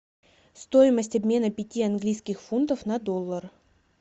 стоимость обмена пяти английских фунтов на доллар